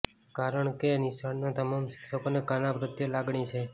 કારણકે નિશાળના તમામ શિક્ષકોને કાના પ્રત્યે લાગણી છે